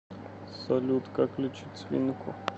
салют как лечить свинку